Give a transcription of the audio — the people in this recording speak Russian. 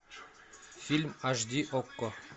фильм аш ди окко